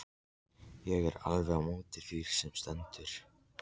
Ég er alveg á móti því sem stendur.